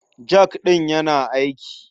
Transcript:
Jak ɗin yana aiki.